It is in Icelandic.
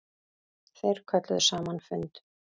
Þeir kölluðu saman fund.